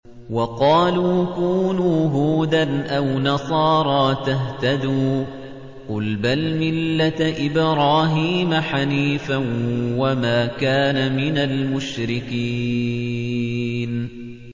وَقَالُوا كُونُوا هُودًا أَوْ نَصَارَىٰ تَهْتَدُوا ۗ قُلْ بَلْ مِلَّةَ إِبْرَاهِيمَ حَنِيفًا ۖ وَمَا كَانَ مِنَ الْمُشْرِكِينَ